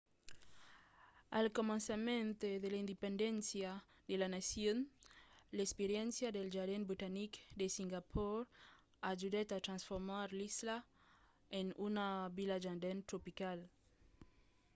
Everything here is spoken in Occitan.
al començament de l'independéncia de la nacion l'experiéncia dels jardins botanics de singapor ajudèt a transformar l'isla en una vila jardin tropical